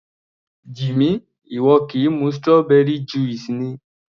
Jimmy, ìwọ kì í mu strawberry juice ni?